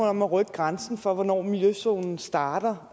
om at rykke grænsen for hvornår miljøzonen starter